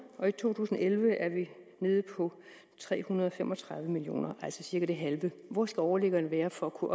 og i to tusind og elleve er vi nede på tre hundrede og fem og tredive million kr altså cirka det halve hvor skal overliggeren være for at kunne